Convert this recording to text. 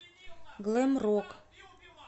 глэм рок